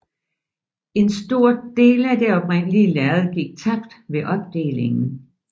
En stor del af det oprindelige lærred gik tabt ved opdelingen